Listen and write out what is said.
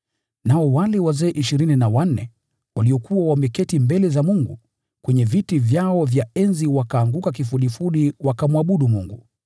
Nao wale wazee ishirini na wanne, waliokuwa wameketi mbele za Mungu, kwenye viti vyao vya enzi, wakaanguka kifudifudi, wakamwabudu Mungu,